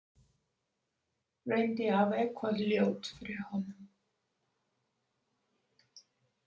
Reyndi að hafa eitthvað ljótt fyrir honum.